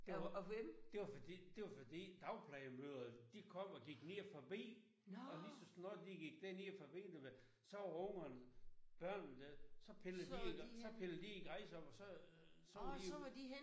Det var det var fordi det var fordi dagplejemødrene de kom og gik ned forbi og lige så snart de gik derned forbi du ved så var ungerne børnene så pillede de så pilled de en græs op og så var de jo